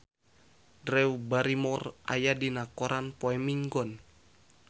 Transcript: Drew Barrymore aya dina koran poe Minggon